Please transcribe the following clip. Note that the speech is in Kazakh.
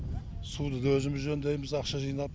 суды да өзіміз жөндейміз ақша жинап